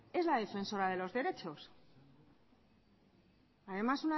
es la defensora de los derechos además